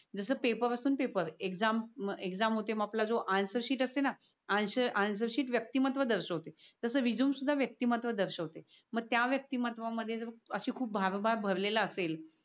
जस पेपर असतो ना पेपर होते मग आपला जो अन्सर शीट असते ना अन्सर शीट आपला व्यक्ती महत्व दर्शवते. तस रेझूमे पण व्यक्ती महत्व दर्शवते. मग त्या व्यक्ती महत्व मध्ये जर अस भाव भाव भरलेला असेल.